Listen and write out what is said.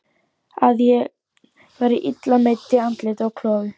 Að ég væri illa meidd í andliti og klofi.